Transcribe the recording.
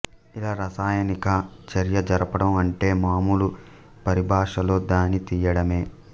ఇలా రసాయనిక చర్య జరపడం అంటే మామూలు పరిభాషలో దాన్ని తినేయడమే